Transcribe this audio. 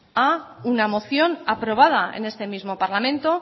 a una moción aprobada en este mismo parlamento